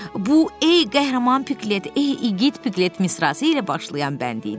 Bu, ey qəhrəman Piqlet, ey igid Piqlet misrası ilə başlayan bənd idi.